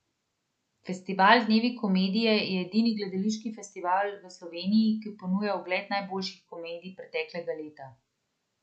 Festival Dnevi komedije je edini gledališki festival v Sloveniji, ki ponuja ogled najboljših komedij preteklega leta.